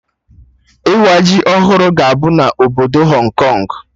Ịwa ji ọhụrụ ga-abụ na obodo Hong Kong